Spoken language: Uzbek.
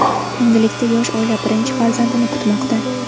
Endilikda yosh oila birinchi farzandini kutmoqda.